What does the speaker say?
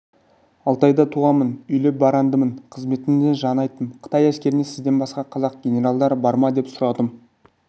алтайда туғанмын үйлі-барандымын қызметімді жаңа айттым қытай әскерінде сізден басқа қазақ генералдары бар ма деп сұрадым